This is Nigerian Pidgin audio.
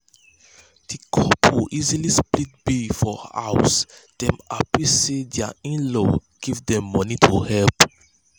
d couple easily split bills for house dem happy say dir in-laws give dem moeny to help.